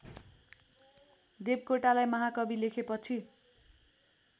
देवकोटालाई महाकवि लेखेपछि